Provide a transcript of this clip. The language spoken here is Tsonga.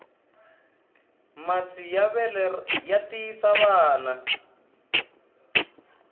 masi ya vele ya tiyisa vana